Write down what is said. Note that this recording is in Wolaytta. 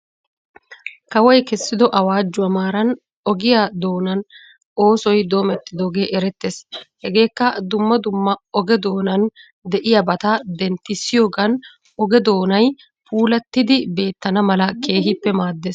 Kawoy kessido awaajjuwa maaran ogiyaa doonaa oosoy doomidoogee erettes. Hegeekka dumma dumma oge doonan de''iyaabata denttisiyoogan oge doonay puulattidi beettana mala keehippe maaddes.